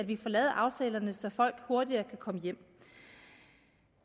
at vi får lavet aftalerne så folk hurtigere kan komme hjem